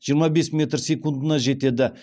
жиырма бес метр секундына жетеді